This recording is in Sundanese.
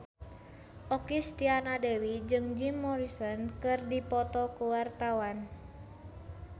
Okky Setiana Dewi jeung Jim Morrison keur dipoto ku wartawan